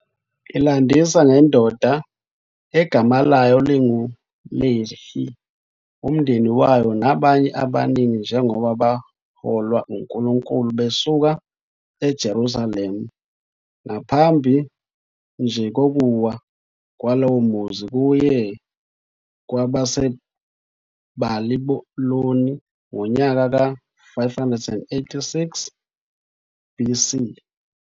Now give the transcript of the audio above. Ilandisa ngendoda egama layo linguLehi, umndeni wayo, nabanye abaningi njengoba beholwa uNkulunkulu besuka eJerusalema ngaphambi nje kokuwa kwalowo muzi kuye kwabaseBabiloni ngonyaka ka 586 BC.